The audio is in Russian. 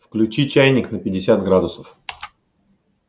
включи чайник на пятьдесят градусов